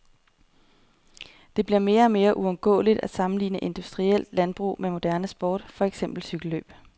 Det bliver mere og mere uundgåeligt at sammenligne industrielt landbrug med moderne sport, for eksempel cykellløb.